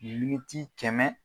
kɛmɛ